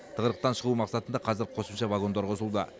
тығырықтан шығу мақсатында қазір қосымша вагондар қосылуда